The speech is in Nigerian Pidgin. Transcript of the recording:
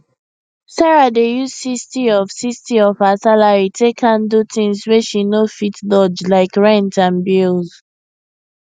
sarah dey use 60 of 60 of her salary take handle things wey she no fit dodgelike rent and bills